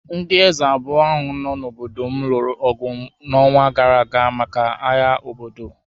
Ndị eze abụọ ahụ nọ n’obodo m lụrụ ọgụ n’ọnwa gara aga maka agha obodo.